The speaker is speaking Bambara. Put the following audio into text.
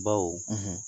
Baw